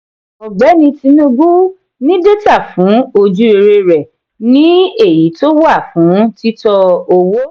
ọgbẹni tinubu ní data fún ojú-rere rẹ ní èyí tó wà fún títọ owó.